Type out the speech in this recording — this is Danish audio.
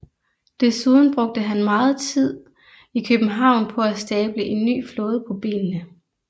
Desuden brugte han megen tid i København på at stable en ny flåde på benene